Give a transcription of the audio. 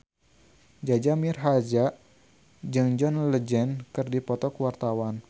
Jaja Mihardja jeung John Legend keur dipoto ku wartawan